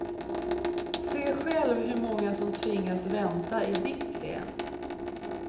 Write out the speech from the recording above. Se själv hur många som tvingas vänta i ditt län.